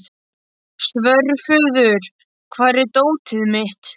Svörfuður, hvar er dótið mitt?